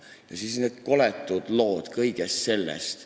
Ja siis on seal need koletud lood sellest kõigest.